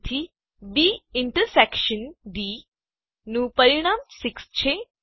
તેથી B intersection D B આંતરછેદ D નું પરિણામ 6 છે